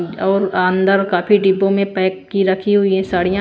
और अंदर काफी डिब्बों में पैक की रखी हुई है साड़ियां--